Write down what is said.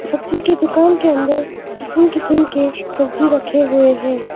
सब्जी के दुकान के अंदर किसीम किसीम के सब्जी रखे हुए हैं।